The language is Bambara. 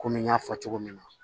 Komi n y'a fɔ cogo min na